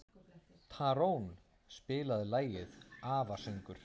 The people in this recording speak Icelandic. Tarón, spilaðu lagið „Afasöngur“.